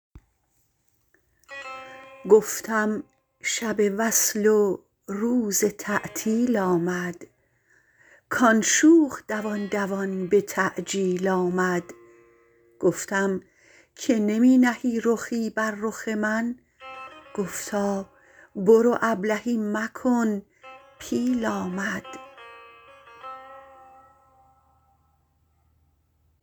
گفتم شب وصل و روز تعطیل آمد کان شوخ دوان دوان به تعجیل آمد گفتم که نمی نهی رخی بر رخ من گفتا برو ابلهی مکن پیل آمد